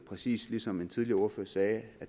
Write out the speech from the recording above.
præcis som en tidligere ordfører sagde